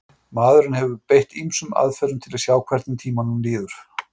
Maðurinn hefur beitt ýmsum aðferðum til að sjá hvernig tímanum líður.